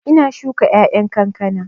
Ina shuka ƴaƴan kankana